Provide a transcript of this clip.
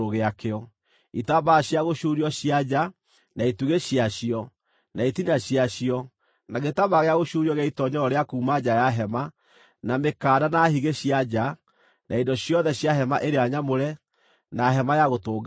itambaya cia gũcuurio cia nja, na itugĩ ciacio, na itina ciacio, na gĩtambaya gĩa gũcuurio gĩa itoonyero rĩa kuuma nja wa hema; na mĩkanda na higĩ cia nja; na indo ciothe cia hema ĩrĩa nyamũre, na Hema-ya-Gũtũnganwo;